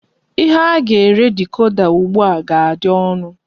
Ihe a ga-ere dikoda ugbu a ga-adị ọnụ.